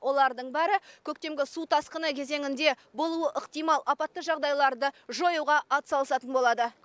олардың бәрі көктемгі су тасқыны кезеңінде болуы ықтимал апатты жағдайларды жоюға атсалысатын болады